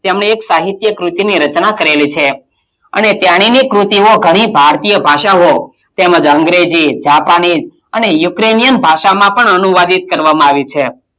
તેમણે એક સાહિત્ય ક્રુતિની રચના કરેલી છે અને તેણીની કૃતિઓ ઘણી ભારતીય ભાષાઑ તેમજ અંગ્રેજી, જાપાની અને યુક્રેનિય ભાષામાં પણ અનુવાદિત કરવામાં આવી છે.